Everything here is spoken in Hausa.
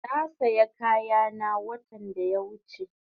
Na saya kayana watan da ya wuche